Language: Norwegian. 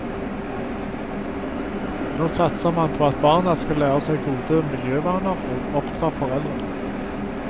Nå satser man på at barna skal lære seg gode miljøvaner og oppdra foreldrene.